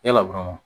Yala dɔrɔn